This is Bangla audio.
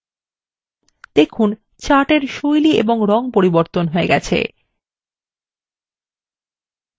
দেখুন chart এর style এবং রং পরিবর্তন হয়ে গেছে